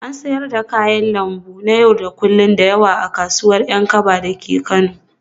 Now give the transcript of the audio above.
Ana siyar da kayan lambu na yau da kullun da yawa a kasuwar Yankaba dake Kano